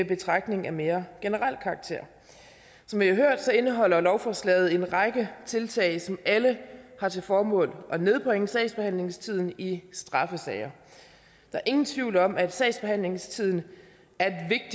betragtning af mere generel karakter som vi har hørt indeholder lovforslaget en række tiltag som alle har til formål at nedbringe sagsbehandlingstiden i straffesager der er ingen tvivl om at sagsbehandlingstiden er